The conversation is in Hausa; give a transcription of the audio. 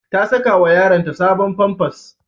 Ta sakawa yaronta sabon famfas.